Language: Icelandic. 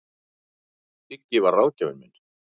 Siggi var ráðgjafinn minn.